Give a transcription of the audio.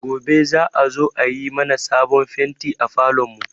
Gobe za a zo a yi mana sabon fenti a falon mu